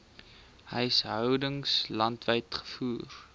huishoudings landwyd gevoer